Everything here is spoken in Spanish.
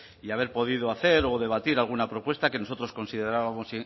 y haber podido hacer o debatir alguna propuesta que nosotros considerábamos